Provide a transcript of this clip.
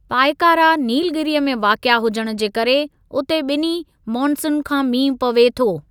पायकारा, नीलगीरीअ में वाक़िआ हुजण जे करे, उते ॿिन्ही मोनसून खां मींहुं पवे थो।